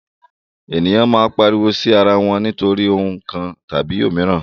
Eniyan maa n pariwo si ara wọn nitori ohun kan tabi omiran